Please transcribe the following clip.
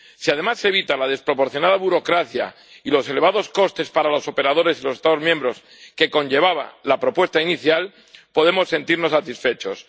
Si, además, se evitan la desproporcionada burocracia y los elevados costes para los operadores y los Estados miembros que conllevaba la propuesta inicial, podemos sentirnos satisfechos.